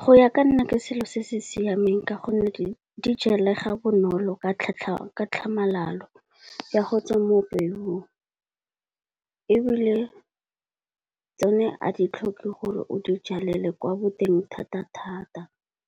Go ya ka nna ke selo se se siameng ka gonne di jalega bonolo ka tlhamalalo, ya go tswa mo peong. Ebile le tsone a di tlhoke gore o di jalele kwa boteng thata-thata